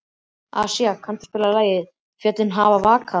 Asía, kanntu að spila lagið „Fjöllin hafa vakað“?